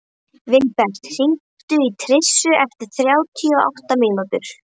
Vilbert, hringdu í Tirsu eftir þrjátíu og átta mínútur.